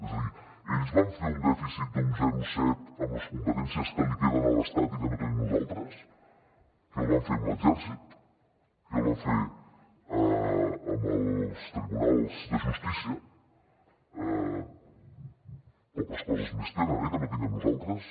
és a dir ells van fer un dèficit d’un zero coma set amb les competències que li queden a l’estat i que no tenim nosaltres què el van fer amb l’exèrcit què el van fer amb els tribunals de justícia poques coses més tenen eh que no tinguem nosaltres